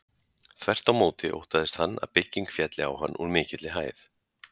Þvert á móti óttaðist hann að bygging félli á hann úr mikilli hæð.